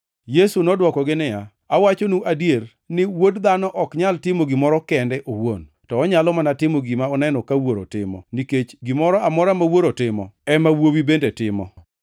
Yesu nodwokogi niya, “Awachonu adier ni, Wuod Dhano ok nyal timo gimoro kende owuon; to onyalo mana timo gima oneno ka Wuoro timo, nikech gimoro amora ma Wuoro timo ema Wuowi bende timo.